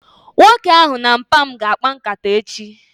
Nwoke ahụ na mpa mu ga akpa nkata echi